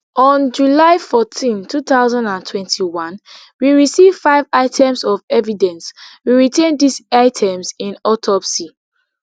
on july fourteen two thousand and twenty-one we receive five items of evidence we retain dis items in autopsy